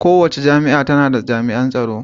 Kowace jami'a tana da jami'in tsaro.